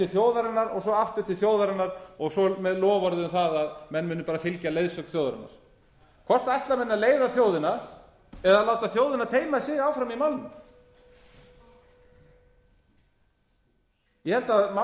þjóðarinnar og svo aftur til þjóðarinnar og svo með loforði um það að menn munu fylgja leiðsögn þjóðarinnar hvort ætla menn að leiða þjóðina eða láta þjóðina teyma sig áfram í málinu ég held að